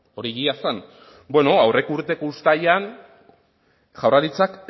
hori egia zen bueno aurreko urteko uztailean jaurlaritzak